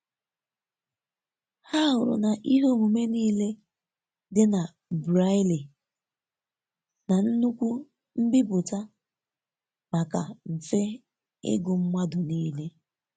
Ha hụrụ na ihe omume nile di na Braille na nnukwu mbipụta maka mfe igụ madu nile.